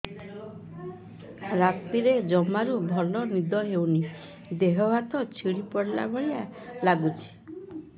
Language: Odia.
ରାତିରେ ଜମାରୁ ଭଲ ନିଦ ହଉନି ଦେହ ହାତ ଛିଡି ପଡିଲା ଭଳିଆ ଲାଗୁଚି